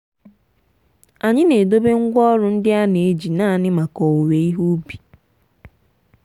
anyị na-edobe ngwaọrụ ndị a na-eji naanị maka owuwe ihe ubi.